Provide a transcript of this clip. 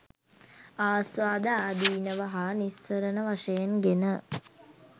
ආස්වාද, ආදීනව හා නිස්සරණ වශයෙන් ගෙන